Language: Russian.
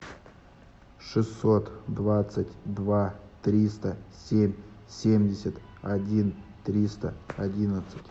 шестьсот двадцать два триста семь семьдесят один триста одиннадцать